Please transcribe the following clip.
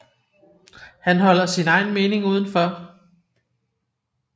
Han holder sin egen mening udenfor